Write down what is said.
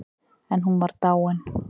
En hún var dáin.